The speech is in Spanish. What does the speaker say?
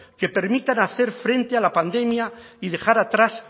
que permitan hacer frente a la pandemia y dejar atrás